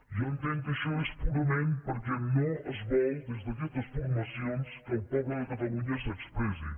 jo entenc que això és purament perquè no es vol des d’aquestes formacions que el poble de catalunya s’expressi